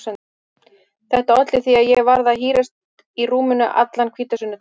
Þetta olli því að ég varð að hírast í rúminu allan hvítasunnudaginn.